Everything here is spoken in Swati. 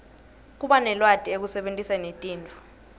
kubanelwati ekusebentiseni tinto